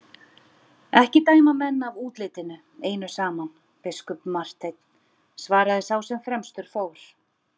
Ekki dæma menn af útlitinu einu saman, biskup Marteinn, svaraði sá sem fremstur fór.